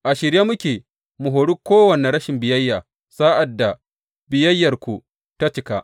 A shirye muke mu hori kowane rashin biyayya, sa’ad da biyayyarku ta cika.